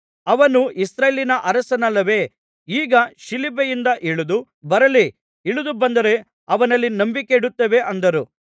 ಅವನು ಇಸ್ರಾಯೇಲಿನ ಅರಸನಲ್ಲವೇ ಈಗ ಶಿಲುಬೆಯಿಂದ ಇಳಿದು ಬರಲಿ ಇಳಿದು ಬಂದರೆ ಅವನಲ್ಲಿ ನಂಬಿಕೆಯಿಡುತ್ತೇವೆ ಅಂದರು